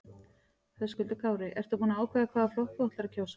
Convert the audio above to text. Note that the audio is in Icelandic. Höskuldur Kári: Ertu búin að ákveða hvaða flokk þú ætlar að kjósa?